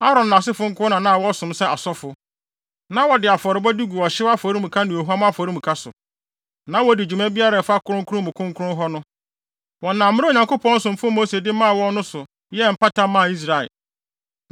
Aaron ne nʼasefo nko na wɔsom sɛ asɔfo. Na wɔde afɔrebɔde gu ɔhyew afɔremuka ne ohuam afɔremuka so, na wodi dwuma biara a ɛfa kronkron mu kronkron hɔ ho. Wɔnam mmara a Onyankopɔn somfo Mose de maa wɔn no so, yɛɛ mpata maa Israel.